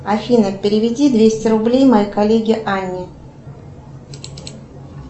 афина переведи двести рублей моей коллеге анне